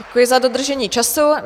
Děkuji za dodržení času.